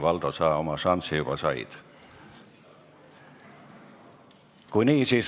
Valdo, sa oma šansi juba said.